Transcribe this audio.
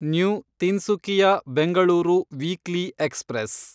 new Tinsukia Bengaluru weekly express